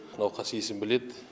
науқас есін біледі